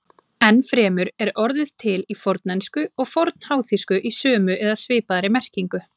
Enn fremur er orðið til í fornensku og fornháþýsku í sömu eða svipaðri merkingu.